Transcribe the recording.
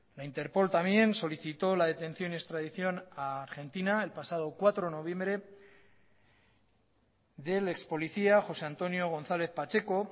la interpol también solicitó la detención y extradición a argentina el pasado cuatro de noviembre del ex policía josé antonio gonzález pacheco